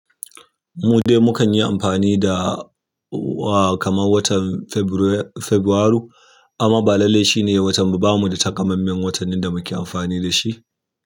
Mu dai mukan yi amfani da wa kaman watan Febrairu amma ba lallai shi ne watan. Ba mu da takamaiman watanni da muke amfani da shi.